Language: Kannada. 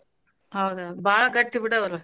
ಹೌದ ಹೌದ ಬಾಳ್ ಗಟ್ಟಿ ಬಿಡ್ ಅವ್ರ್.